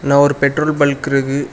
ஒரு petrol bunk இருக்கு.